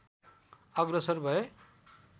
अग्रसर भए